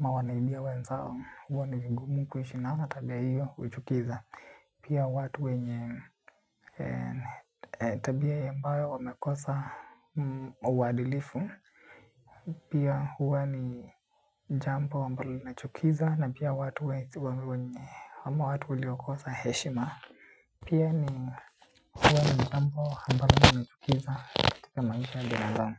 ama wanaibia wenzao huwa nivigumu kuishi nao tabia hiyo huchukiza. Pia watu wenye tabia ambayo wamekosa mauadhilifu pia huwa ni jambo ambayo linachukiza na pia watu ama watu waliokosa heshima. Pia ni jambo ambalo linachukiza. Katika maisha ni nandang.